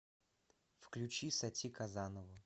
включи сати казанову